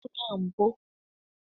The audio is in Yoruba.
Kébù náà ń bó.